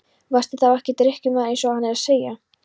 Varstu þá ekki drykkjumaður eins og hann er að segja?